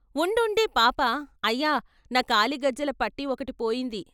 ఉండుండి పాప అయ్యా నా కాలి గజ్జలపట్టి ఒకటి పోయింది.